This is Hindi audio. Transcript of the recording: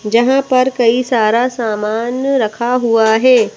जहाँ पर कई सारा सामान रखा हुआ है।